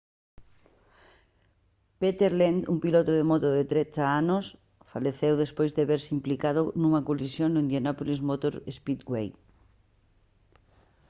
peter lenz un piloto de moto de 13 anos faleceu despois de verse implicado nunha colisión no indianapolis motor speedway